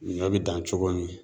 Ɲɔ bi dan cogo min